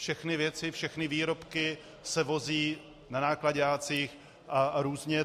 Všechny věci, všechny výrobky se vozí na náklaďácích a různě.